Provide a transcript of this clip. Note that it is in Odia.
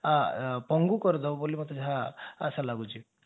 ପଙ୍ଗୁ କରିଦେବ ବୋଲି ମତେ ଯାହା ମୋତେ ଆଶା ଲାଗୁଛି